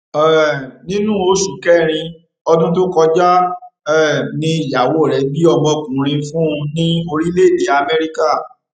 um nínú oṣù kẹrin ọdún tó kọjá um ni ìyàwó rẹ bí ọmọ ọkùnrin fún un ní orílẹèdè amẹríkà